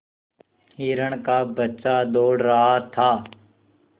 हिरण का बच्चा दौड़ रहा था